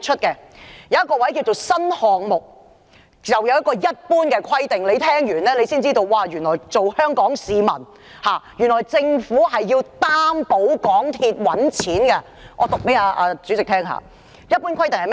有一項是"新項目"，下有"一般規定"，聽完後便會知道，原來政府是要擔保港鐵公司賺錢的，且讓我向代理主席唸出來。